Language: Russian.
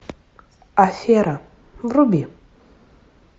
афера вруби